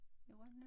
I Rønne